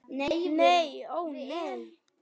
Nei ó nei.